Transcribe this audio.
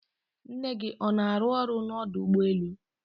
nne gị ọ na-arụ ọrụ n'ọdọ ụgbọelu?